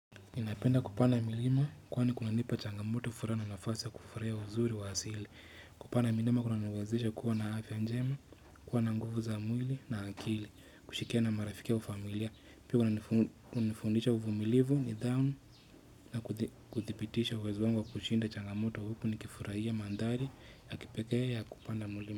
Ninapenda kupanda milima kwani kunanipa changamoto, furaha na nafasi ya kufurahia uzuri wa asili Kupanda milima kunaniwezesha kuwa na afya njema, kuwa na nguvu za mwili na akili, kushirikiana na marafiki wa familia, Pia unanifundisha uvumilivu, nidhamu na kuthibitisha uwezo wangu wa kushinda changamoto huku nikifurahia mandhari ya kipekee ya kupanda mlima.